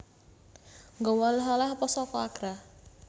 Nggowo oleh oleh opo soko Agra?